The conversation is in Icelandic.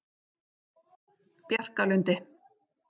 Bjarkalundi